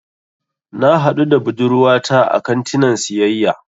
Na haɗu da budurwata a kantinan siyayya.